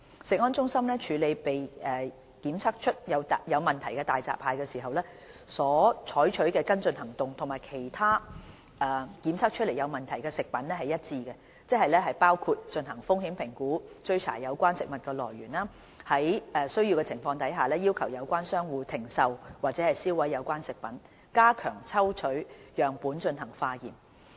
食安中心處理被檢測出有問題的大閘蟹時，所採取的跟進行動與其他被檢測出有問題的食品一致，即包括進行風險評估、追查有關食物來源、在有需要的情況下要求有關商戶停售或銷毀有關食品，以及加強抽取樣本進行化驗。